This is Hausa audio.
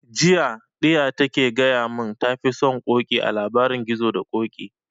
Jiya ɗiya ta ke gaya mun ta fi son ƙoƙi a labarin gizo da ƙoƙi